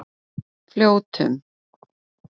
Fljótum